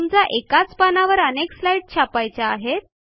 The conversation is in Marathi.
समजा एकाच पानावर अनेक स्लाईडस् छापायच्या आहेत